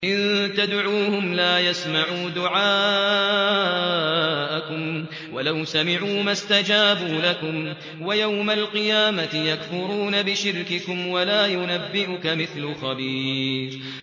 إِن تَدْعُوهُمْ لَا يَسْمَعُوا دُعَاءَكُمْ وَلَوْ سَمِعُوا مَا اسْتَجَابُوا لَكُمْ ۖ وَيَوْمَ الْقِيَامَةِ يَكْفُرُونَ بِشِرْكِكُمْ ۚ وَلَا يُنَبِّئُكَ مِثْلُ خَبِيرٍ